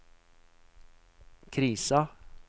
krisa